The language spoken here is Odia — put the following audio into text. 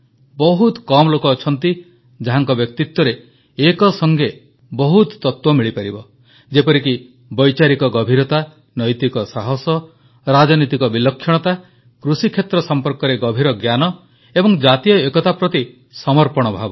ବହୁତ କମ୍ ଲୋକ ଅଛନ୍ତି ଯାହାଙ୍କ ବ୍ୟକ୍ତିତ୍ୱରେ ଏକସଙ୍ଗେ ବହୁତ ତତ୍ୱ ମିଳିପାରିବ ଯେପରିକି ବୈଚାରିକ ଗଭୀରତା ନୈତିକ ସାହସ ରାଜନୀତିକ ବିଲକ୍ଷଣତା କୃଷିକ୍ଷେତ୍ର ସମ୍ପର୍କରେ ଗଭୀର ଜ୍ଞାନ ଏବଂ ଜାତୀୟ ଏକତା ପ୍ରତି ସମର୍ପଣ ଭାବ